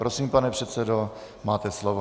Prosím, pane předsedo, máte slovo.